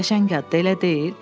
Qəşəng ad, elə deyil?